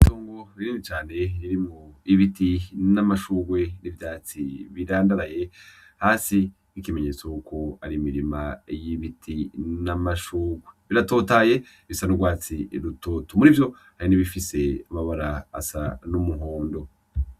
Itongo rinini cane ririmwo ibiti n'amashurwe birandaraye hasi nk'ikimenyetso yuko ari imirima y'ibiti n'amashurwe, biratotahaye bisa n'urwatsi rutoto, murivyo hari n'ibifise amabara asa n'umuhondo.